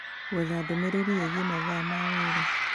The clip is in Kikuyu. gwetha ndũmĩrĩri ĩgiĩ mathaa ma wĩra